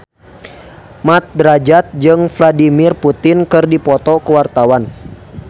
Mat Drajat jeung Vladimir Putin keur dipoto ku wartawan